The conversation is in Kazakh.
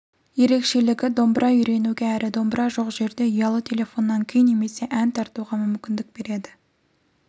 ерекшелігі домбыра үйренуге әрі домбыра жоқ жерде ұялы телефоннан күй немесе ән тартуға мүмкіндік береді